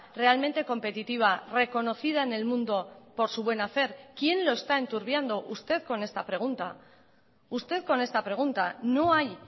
realmente competitiva reconocida en el mundo por su buen hacer quién lo está enturbiando usted con esta pregunta usted con esta pregunta no hay